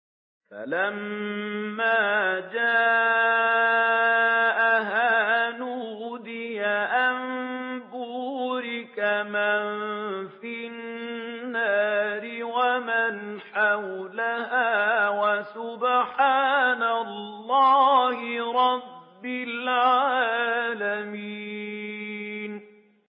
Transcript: فَلَمَّا جَاءَهَا نُودِيَ أَن بُورِكَ مَن فِي النَّارِ وَمَنْ حَوْلَهَا وَسُبْحَانَ اللَّهِ رَبِّ الْعَالَمِينَ